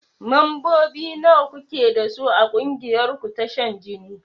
Mambobi nawa kuke dasu a ƙungiyar ku ta shan jini?